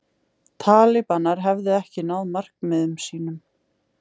Talibanar hefðu ekki náð markmiðum sínum